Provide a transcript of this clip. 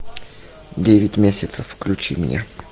девять месяцев включи мне